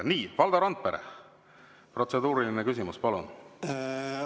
Nii, Valdo Randpere, protseduuriline küsimus, palun!